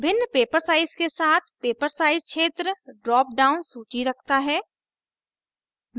भिन्न paper size के साथ paper size क्षेत्र drop down सूची रखता है